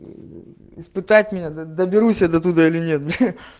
испытать меня доберусь я до туда или нет бля